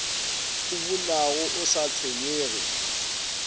o bunago o sa tshwenyege